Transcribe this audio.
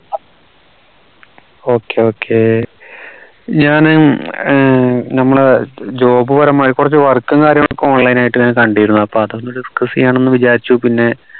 okay okay ഞാൻ ഉം ഏർ നമ്മുടെ job പരമായി കുറച്ചു work ഉം കാര്യങ്ങളും ഒക്കെ online ആയിട്ട് ഞാൻ കണ്ടിരുന്നു അപ്പോ അതൊന്ന് discuss ചെയ്യണന്ന് വിചാരിച്ചു പിന്നെ